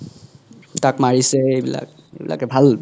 তাক মাৰিছে এইবিলাক এইবিলাকে ভাল